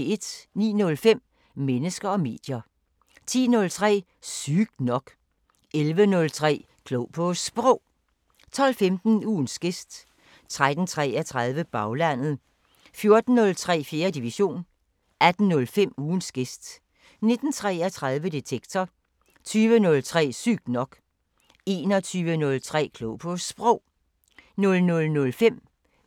09:05: Mennesker og medier 10:03: Sygt nok 11:03: Klog på Sprog 12:15: Ugens gæst 13:33: Baglandet 14:03: 4. division 18:05: Ugens gæst 19:33: Detektor 20:03: Sygt nok 21:03: Klog på Sprog